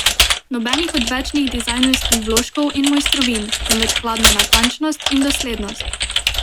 Nobenih odvečnih dizajnerskih vložkov in mojstrovin, temveč hladna natančnost in doslednost.